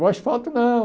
O asfalto não.